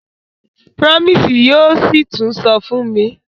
Promise yóò sí tún sọ fún mi.